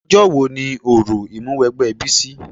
Ọjọ́ wo ni òrò Ìmúwẹgbẹ́ Bísí?